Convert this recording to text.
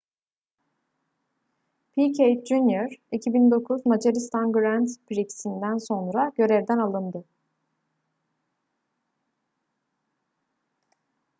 piquet jr 2009 macaristan grand prix'sinden sonra görevden alındı